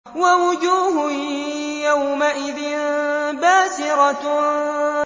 وَوُجُوهٌ يَوْمَئِذٍ بَاسِرَةٌ